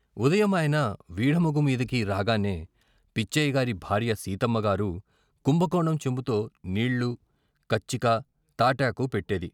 ఉదయం ఆయన వీఢముగుమీదకి రాగానే పిచ్చయ్యగారి భార్య సీతమ్మ గారు కుంభకోణం చెంబుతో నీళ్ళు, కచ్చిక, తాటాకు పెట్టేది.